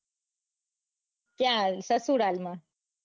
ક્યાં આવ્યું સસુરાલ માં